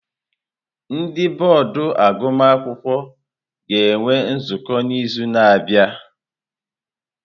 Ndị bọọdụ agụmakwụkwọ ga-enwe nzukọ n'izu na-abịa.